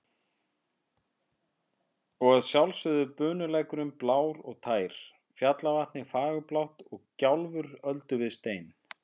Og að sjálfsögðu bunulækurinn blár og tær, fjallavatnið fagurblátt og gjálfur öldu við stein.